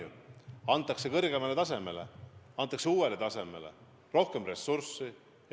Ülesanne antakse kõrgemale tasemele, antakse uuele tasemele, kus rohkem ressurssi.